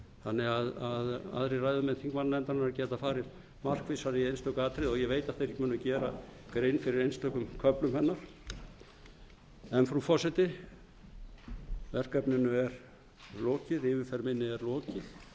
þannig að aðrir ræðumenn þingmannanefndarinnar geta farið markvissar í einstök atriði og ég veit að þeir munu gera grein fyrir einstökum köflum hennar frú forseti yfirferð minni er lokið en verkefnið er